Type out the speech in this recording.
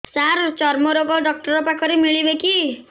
ସାର ଚର୍ମରୋଗ ଡକ୍ଟର ପାଖରେ ମିଳିବେ କି